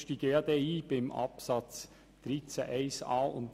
Wir kommen noch bei Artikel 13a und Artikel13b darauf zurück.